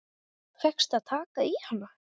Fékkstu að taka í hana?